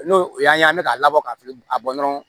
N'o o y'an ye an bɛ ka labɔ ka fili a bɔ dɔrɔn